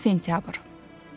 10 sentyabr.